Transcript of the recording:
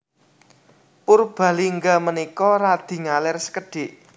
Purbalingga menika radi ngaler sekedhik